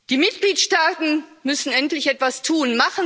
Die Mitgliedstaaten müssen endlich etwas tun.